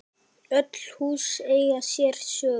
Öll hús eiga sér sögu.